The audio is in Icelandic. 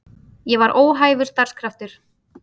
Ég var óhæfur starfskraftur.